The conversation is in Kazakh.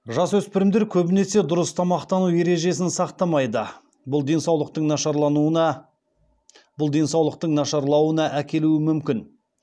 жасөспірімдер көбінесе дұрыс тамақтану ережесін сақтамайды бұл денсаулықтың нашарлауына әкелуі мүмкін